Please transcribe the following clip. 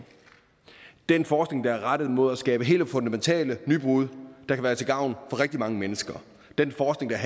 den forskning der er rettet mod at skabe helt fundamentale nybrud kan være til gavn for rigtig mange mennesker